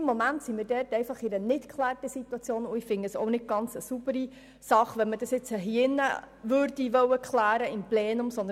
Im Moment befinden wir uns in einer ungeklärten Situation, und ich finde es keine saubere Sache, die Klärung hier im Plenum vorzunehmen.